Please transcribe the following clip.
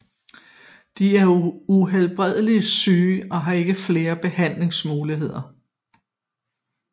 De er uhelbredeligt syge og har ikke flere behandlingsmuligheder